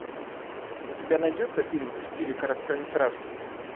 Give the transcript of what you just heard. у тебя найдется фильм в стиле короткометражки